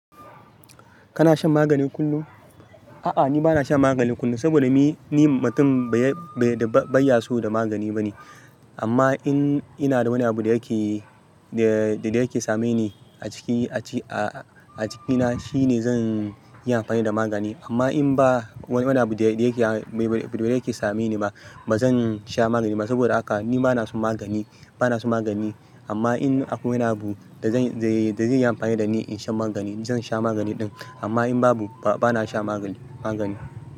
Kana shan magani kullum? A'a, ni bana shan magani kullum saboda ni, ni mutum ba ya, bai da, bai yaso da magani ba ne. Amma in ina da wani abu da yake, da, da yake same ni a ciki, a ci-- a, a jikina, shine zan yi amfani da magani. Amma in ba wani abu da yake, ba da yake same ni ba, ba zan sha magani ba. Saboda haka ni bana son magani, bana son magani. Amma in akwai wani abu da zan, da zai yi amfani da ni in shan magani, zan sha magani ɗin. Amma in babu, ba, bana sha magani, magani.